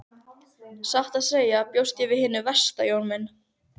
Satt að segja bjóst ég við hinu versta Jón minn.